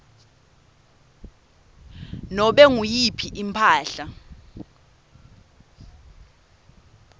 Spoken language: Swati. nobe nguyiphi imphahla